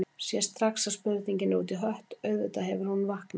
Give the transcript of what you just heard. Sér strax að spurningin er út í hött, auðvitað hefur hún vaknað.